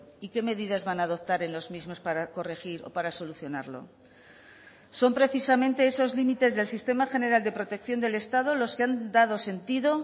y qué medidas van a adoptar en los mismos para corregir o para solucionarlo son precisamente esos límites del sistema general de protección del estado los que han dado sentido